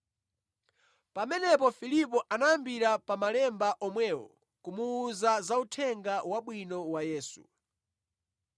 Pamenepo Filipo anayambira pa malemba omwewo kumuwuza za Uthenga Wabwino wa Yesu.